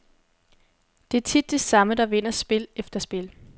Det er tit de samme, der vinder spil efter spil.